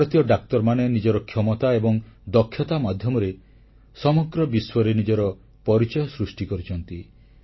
ଭାରତୀୟ ଡାକ୍ତରମାନେ ନିଜର କ୍ଷମତା ଏବଂ ଦକ୍ଷତା ମାଧ୍ୟମରେ ସମଗ୍ର ବିଶ୍ୱରେ ନିଜର ପରିଚୟ ସୃଷ୍ଟି କରିଛନ୍ତି